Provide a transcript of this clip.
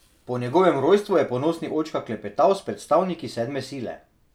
Po njegovem rojstvu je ponosni očka klepetal s predstavniki sedme sile.